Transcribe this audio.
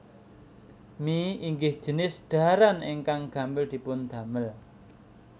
Mie inggih jinis dhaharan ingkang gampil dipun damel